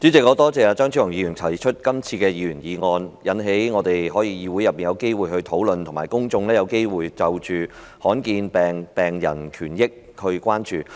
代理主席，我感謝張超雄議員提出這項議員議案，讓我們在議會內有機會討論，以及讓公眾有機會關注罕見疾病病人的權益。